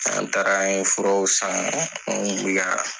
An taara an ye furaw san